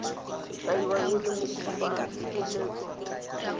kaiwang e le mokopatshireletso mo